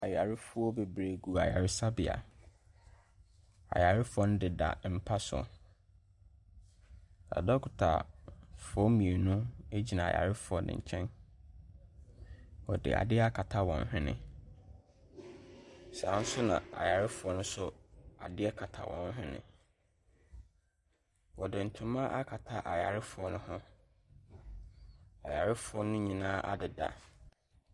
Ayarefoɔ bebree gu ayaresabea, ayarefoɔ no deda mpa so. Adɔkotafoɔ mmienu ɛgyina ayarefoɔ no nkyɛn, ɔde adeɛ akata wɔn hwene, saa nso na ayarefoɔ no nso adeɛ kata wɔn hwene. Ɔde ntoma akata ayarefoɔ no ho, ayarefoɔ no nyinaa adeda.